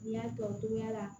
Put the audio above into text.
N y'a tɔ cogoya la